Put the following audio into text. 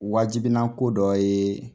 Wajibina ko dɔ ye